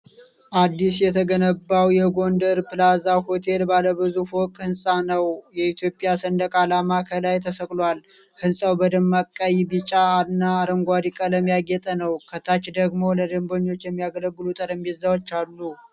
አዲስ የተገነባው የጎንደር ፕላዛ ሆቴል ባለብዙ ፎቅ ሕንጻ ነው። የኢትዮጵያ ሰንደቅ ዓላማ ከላይ ተሰቅሎል፣ ሕንጻው በደማቅ ቀይ፣ ቢጫና አረንጓዴ ቀለም ያጌጠ ነው። ከታች ደግሞ ለደንበኞች የሚያገለግሉ ጠረጴዛዎች አሉ።